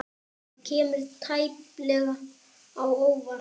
Það kemur tæplega á óvart.